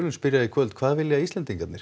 spyrjum í kvöld hvað vilja Íslendingarnir